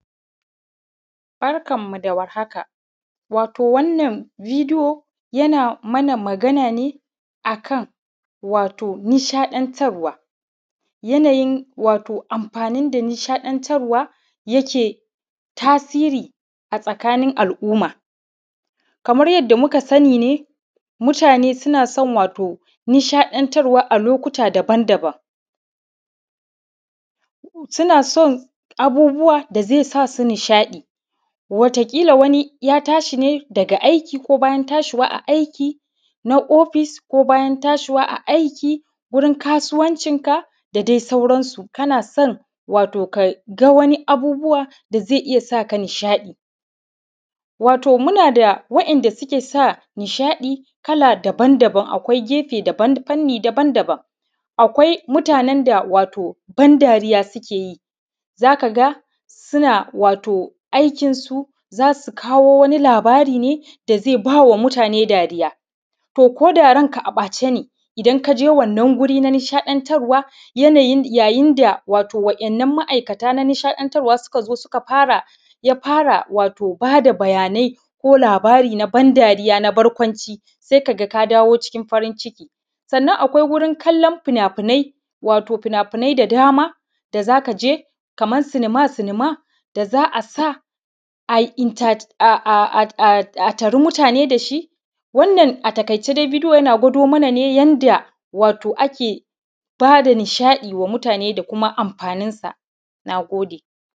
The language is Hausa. Barkanmu da war haka. Wato wannan video yana mana magana ne wato nishaɗantarwa, yanayin wato amfani da nishaɗantarwa yake tasiri a tsakanin al’umma. Kamar yadda muka sani ne, mutane suna son wato nishaɗantarwa a lokuta daban daban, suna son abubuwa da zai sa su nishaɗi, wata ƙila wani ya tashi ne daga aiki, ko bayan tashiwa a aiki na office, ko bayan tashiwa a aiki wurin kasuwancinka da dai sauransu, kana son wato ka ga wani abubuwa da zai iya sa ka nishaɗi. wato muna da waɗanda suke sa nishaɗi kala daban daban, akwai gefe, fanni daban daban: akwai mutanen da wato ban dariya suke yi, za ka ga suna wato aikinsu za su kawo wani labari ne da zai ba wa mutane dariya. To ko da ranka a ɓace ne, idan ka je wannan wuri na nishaɗantarwa yanayin, yayin da wato waɗannan ma’aikata na nishaɗantarwa suka zo suka fara, ya fara wato ba da bayanai ko labari na ban dariya na barkwanci, sai ka ga ka dawo cikin farin ciki. Sannan akwai wurin kallon fina-finai, wato fina-finai da dama da za ka je kamar silima silima da za a sa a yi entertaining, a tari mutane da shi. Wannan a taƙaice dai video yana gwado mana ne yanda wato ake ba da nishaɗi wa mutane da kuma amfaninsa. Na gode.